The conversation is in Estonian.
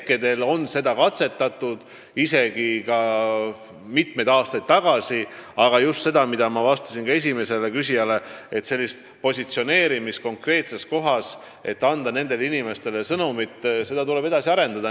Seda on küll katsetatud juba mitu aastat tagasi, aga nagu ma vastasin ka esimesele küsijale, seda süsteemi, mis võimaldaks konkreetses kohas asuvatele inimestele mingit sõnumit operatiivselt edastada, tuleb edasi arendada.